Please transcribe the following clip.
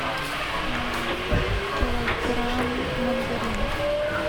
килограмм мандаринов